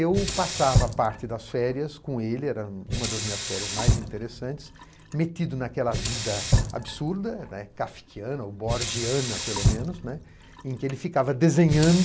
Eu passava parte das férias com ele, era uma das minhas férias mais interessantes, metido naquela vida absurda, né, kafkiana ou borgiana pelo menos, né, em que ele ficava desenhando